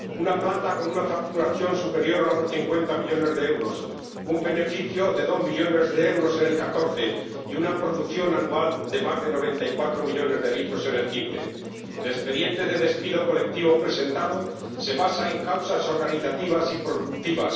Una planta con una facturación superior a los 50 millones de euros, un beneficio de dos millones de euros en 2014 y una producción anual de más de 94 millones de litros en 2015. El expediente de despido colectivo presentado se basa en causas organizativas y productivas